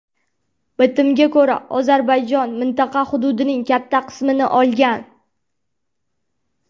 Bitimga ko‘ra, Ozarbayjon mintaqa hududining katta qismini olgan.